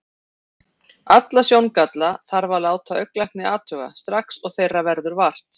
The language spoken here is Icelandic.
Alla sjóngalla þarf að láta augnlækni athuga, strax og þeirra verður vart.